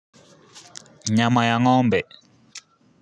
Nyama ya ngombe.